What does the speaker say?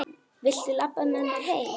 Viltu labba með mér heim?